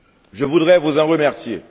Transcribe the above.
Je voudrais vous en remercier.